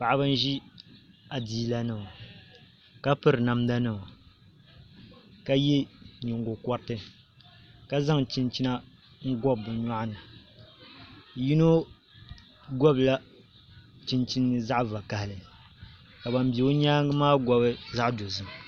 Paɣaba n ʒi adiila nima ka piri namda nima ka yɛ nyingokoriti ka zaŋ chinchina n bobi bi myoɣani yino gobila chinchini zaɣ vakaɣali ka ban bɛ o nyaangi maa gobi zaɣ dozim